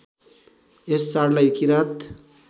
यस चाडलाई किरात